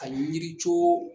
Ali yiricoo